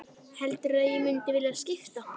Heldurðu að ég mundi vilja skipta?